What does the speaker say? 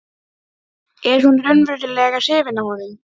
Er hún raunverulega hrifin af honum?